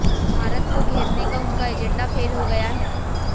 भारत को घेरने का उनका एजेंडा फेल हो गया है